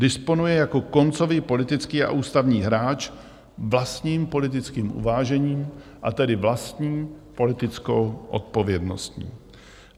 Disponuje jako koncový politický a ústavní hráč vlastním politickým uvážením, a tedy vlastní politickou odpovědnostní.